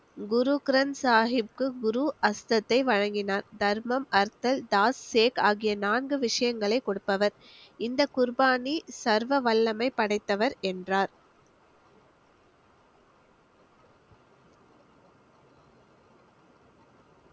குரு கிரந்த் சாஹிபுக்கு குரு அந்தஸ்தை வழங்கினார் தர்மம், அர்த்தல், ஆகிய நான்கு விஷயங்களை கொடுப்பவர் இந்த குர்பானி சர்வ வல்லமை படைத்தவர் என்றார்